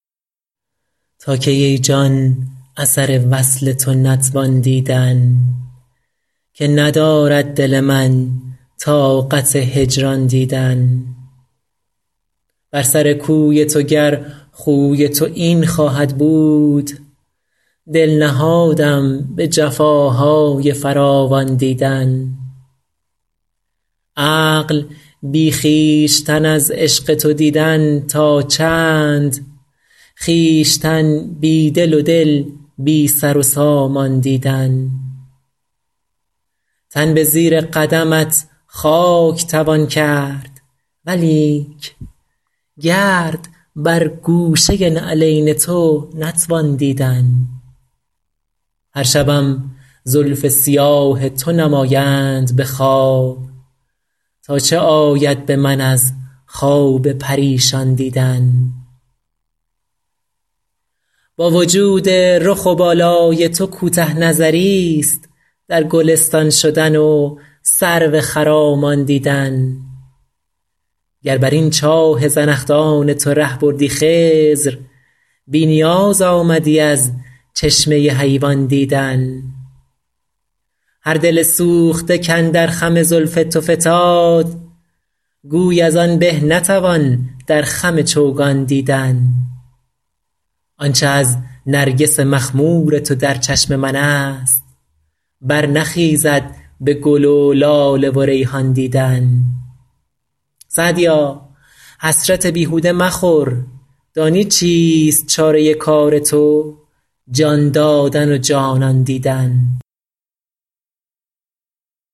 تا کی ای جان اثر وصل تو نتوان دیدن که ندارد دل من طاقت هجران دیدن بر سر کوی تو گر خوی تو این خواهد بود دل نهادم به جفاهای فراوان دیدن عقل بی خویشتن از عشق تو دیدن تا چند خویشتن بی دل و دل بی سر و سامان دیدن تن به زیر قدمت خاک توان کرد ولیک گرد بر گوشه نعلین تو نتوان دیدن هر شبم زلف سیاه تو نمایند به خواب تا چه آید به من از خواب پریشان دیدن با وجود رخ و بالای تو کوته نظریست در گلستان شدن و سرو خرامان دیدن گر بر این چاه زنخدان تو ره بردی خضر بی نیاز آمدی از چشمه حیوان دیدن هر دل سوخته کاندر خم زلف تو فتاد گوی از آن به نتوان در خم چوگان دیدن آن چه از نرگس مخمور تو در چشم من است برنخیزد به گل و لاله و ریحان دیدن سعدیا حسرت بیهوده مخور دانی چیست چاره کار تو جان دادن و جانان دیدن